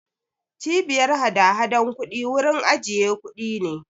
Cbiyar hadahadan kuɗi wurin ajiye kuɗi ne.